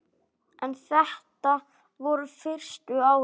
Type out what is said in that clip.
En þetta voru fyrstu árin.